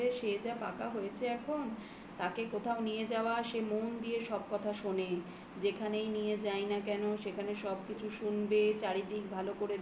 হ্যাঁ যাব রে সে যা পাকা হয়েছে এখন তাকে কোথাও নিয়ে যাওয়া, সে মন দিয়ে সব কথা শোনে. যেখানেই নিয়ে যাই না কেন, সেখানে সব কিছু শুনবে, চারিদিক ভালো করে